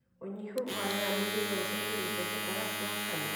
ũnyihu wa rĩera mwĩrĩ-inĩ noũcũngĩrĩrie gũcenjia kwa rangi wa kanua